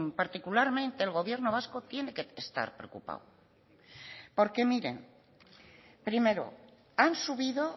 particularmente el gobierno vasco tiene que estar preocupado porque miren primero han subido